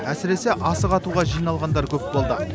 әсіресе асық атуға жиналғандар көп болды